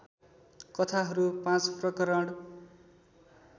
कथाहरू पाँच प्रकरण